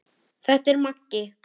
Þetta er Maggi!